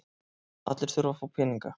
Allir þurfa að fá peninga.